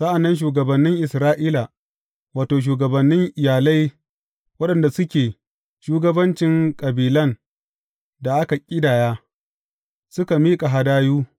Sa’an nan shugabannin Isra’ila, wato, shugabannin iyalai waɗanda suke shugabancin kabilan da aka ƙidaya, suka miƙa hadayu.